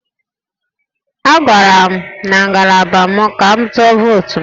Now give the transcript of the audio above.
Agara m na ngalaba m ka m tụọ votu m